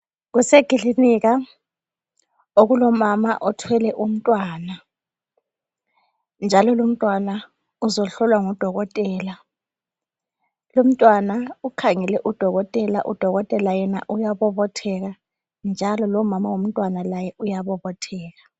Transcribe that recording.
Kusekilinika okulomama othwele umntwana .Njalo lumntwana uzohlolwa ngudokotela .Lumntwana ukhangele udokotela, udokotela yena uyabobotheka .Njalo lomama womntwana laye uyabobotheka .